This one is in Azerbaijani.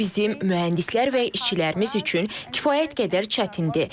Bu bizim mühəndislər və işçilərimiz üçün kifayət qədər çətindir.